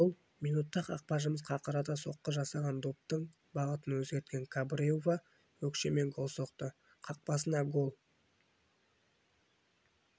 гол минутта қақпашымыз қақырата соққы жасаған доптың бағытын өзгерткен кабреува өкшемен гол соқты қақпасына гол